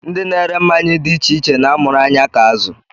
Ndị na-ere mmanya dị iche iche na-amụrụ anya ka azụ